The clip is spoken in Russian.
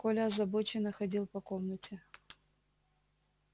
коля озабоченно ходил по комнате